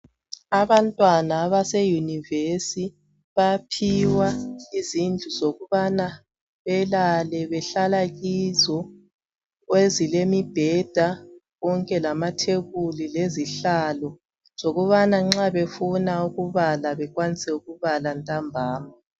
Abantwana abase univesi ,bayaphiwa izindlu zokubana belale behlala kizo ezilemibheda konke lamathebuli lezihlalo zokubana nxa befuna ukubala bekwanise ukubala ntambama.